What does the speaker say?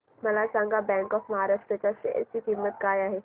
मला सांगा bank of Maharashtra च्या शेअर ची किंमत काय आहे